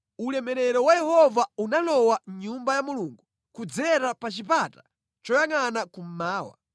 Ulemerero wa Yehova unalowa mʼNyumba ya Mulungu kudzera pa chipata choyangʼana kummawa.